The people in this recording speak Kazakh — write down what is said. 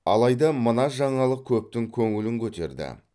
алайда мына жаңалық көптің көңілін көтерді